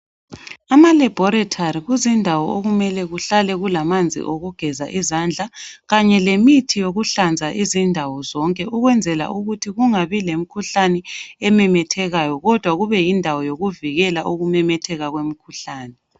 Amalaboratory kuzindawo ukumele kuhlale kulamanzi okugeza izandla kanye lemithi yokuhlanza izindawo zonke ukwenzela ukuthi kungabi lemkhuhlane ememethekayo kodwa kube yindawo yokuvikela ukumemetheka kwemkhuhlane.